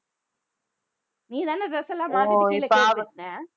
நீ தானே dress எல்லாம்